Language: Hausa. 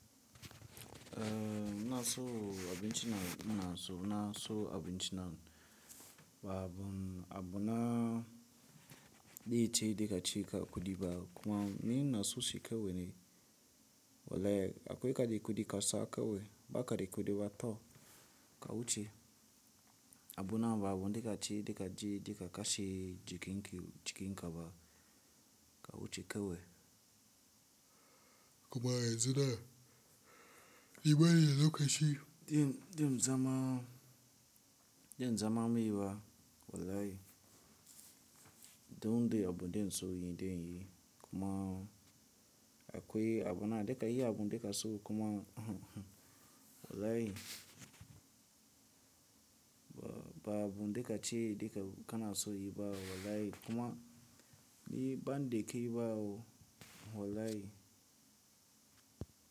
Ehh, muna so abin ci na muna so, muna so abin cina, ba abun, abu na daya ce daka ci ka kuɗi ba kuma ni na so ci kewaye. Wallahi akwai ka dai kuɗi ka sa kewai, ba kada kuɗi ba, to ka wuce. Abu na ba abu daka ci, daka ci, daka kashi jikin ki jikin ka ba, ka wuce kewai. Kuma yanzu nan, ni bani da lokaci. De, de mu zama, de mu zama mai ba wallahi. Don dai abu dainso yin dai yi, kuma akwai abu na daka yi abun daka so kuma, wallahi ba abu daka ci daka kana so yi ba wallahi kuma ni ban dakiyi ba wo, wallahi.